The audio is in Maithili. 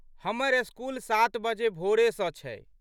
हमर स्कूल सात बजे भोरे सँ छै।